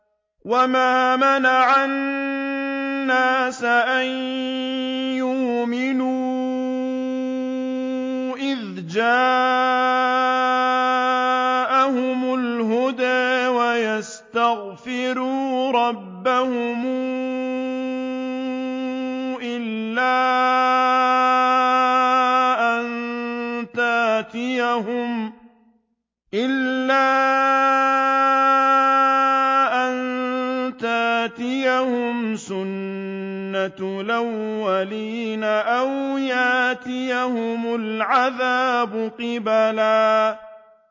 وَمَا مَنَعَ النَّاسَ أَن يُؤْمِنُوا إِذْ جَاءَهُمُ الْهُدَىٰ وَيَسْتَغْفِرُوا رَبَّهُمْ إِلَّا أَن تَأْتِيَهُمْ سُنَّةُ الْأَوَّلِينَ أَوْ يَأْتِيَهُمُ الْعَذَابُ قُبُلًا